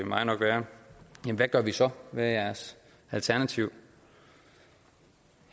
mig nok være hvad gør vi så hvad er jeres alternativ